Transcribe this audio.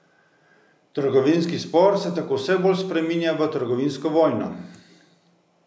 Trgovinski spor se tako vse bolj spreminja v trgovinsko vojno.